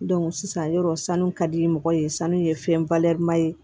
sisan yɔrɔ sanu ka di mɔgɔ ye sanu ye fɛnba ye